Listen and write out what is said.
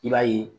I b'a ye